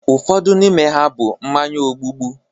Ụfọdụ n'ime ha bụ mmanya ogbubu